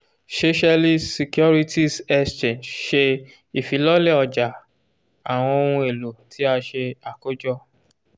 seychelles securities exchange ṣe ifilọlẹ ọja awọn ohun elo ti a ṣe akojọ